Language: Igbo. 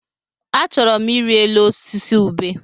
Achọrọ m ịrị elu osisi ubé.